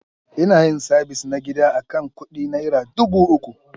Ina yin sabis na gida akan kudi Naira dubu uku.